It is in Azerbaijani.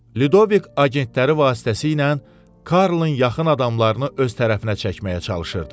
Lidovik agentləri vasitəsilə Karlın yaxın adamlarını öz tərəfinə çəkməyə çalışırdı.